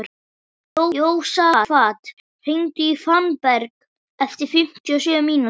Jósafat, hringdu í Fannberg eftir fimmtíu og sjö mínútur.